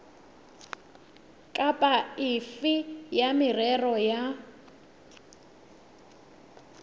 kapa efe ya merero ya